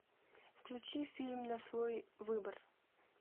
включи фильм на свой выбор